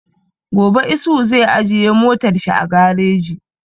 Gobe Isuhu zai ajiye motar shi a gareji